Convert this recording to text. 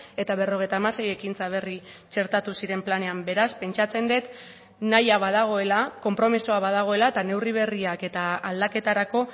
eta berrogeita hamasei ekintza berri txertatu ziren planean beraz pentsatzen dut nahia badagoela konpromisoa badagoela eta neurri berriak eta aldaketarako